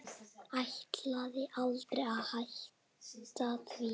Ætlaði aldrei að hætta því.